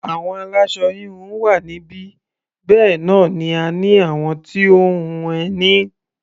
Àwọn aláṣọ-híhun wà níbí, bẹ́ẹ̀ náà ni a ní àwọn tó ń hun ẹní.